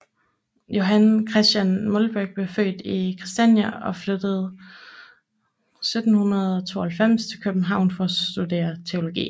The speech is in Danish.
Johan Christian Molbech blev født i Kristiania og flyttede 1772 til København for at studere teologi